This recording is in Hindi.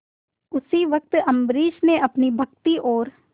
उसी वक्त अम्बरीश ने अपनी भक्ति और